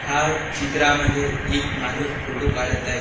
हा चित्रामध्ये एक माणूस फोटो काढत आहे.